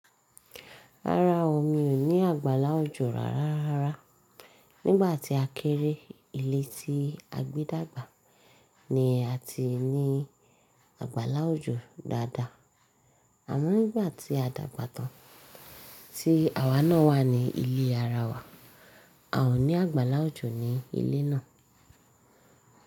Rárá o, mi ò ní àgbàlá òjò rárárara. Nígbà tí a kéré, ilé tí a gbé dàgbà ni a ti ní àgbàlá òjò dáadáa. Àmo nígbà tí a dàgbà tán tí àwa náà wà ní ilé ara wa, a ò ní àgbàlá òjò ní ilé náà.